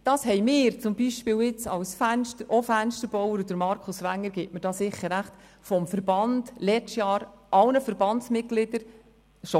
Das haben wir zum Beispiel auch als Fensterbauer vom Verband her – Grossrat Markus Wenger gibt mir hier sicher recht – bereits letztes Jahr allen mitgeteilt.